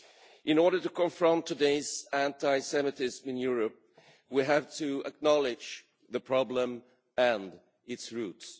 In order to confront today's anti Semitism in Europe, we have to acknowledge the problem and its roots.